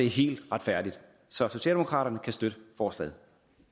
helt retfærdigt så socialdemokraterne kan støtte forslaget